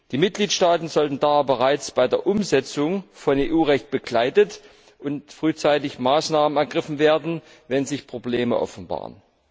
Die Mitgliedstaaten sollten bereits bei der Umsetzung von EU Recht begleitet und es sollten frühzeitig Maßnahmen ergriffen werden, wenn sich Probleme offenbaren.